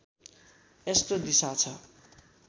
यस्तो दिशा छ